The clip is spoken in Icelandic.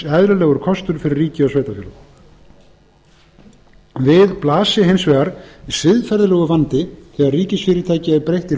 eðlilegur kostur fyrir ríki og sveitarfélög við blasi hins vegar siðferðilegur vandi þegar ríkisfyrirtæki er breytt í